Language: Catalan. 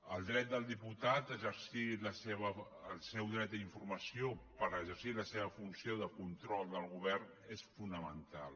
el dret del diputat a exercir el seu dret a informació per exercir la seva funció de control del govern és fonamental